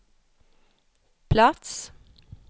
plats